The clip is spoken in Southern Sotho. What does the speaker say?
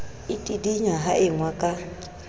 e tidinya ha engwa ka